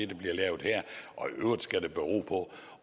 der bliver lavet her og i øvrigt skal det bero på